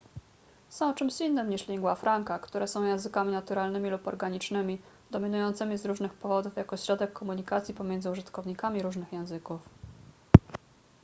są czymś innym niż lingua franca które są językami naturalnymi lub organicznymi dominującymi z różnych powodów jako środek komunikacji pomiędzy użytkownikami różnych języków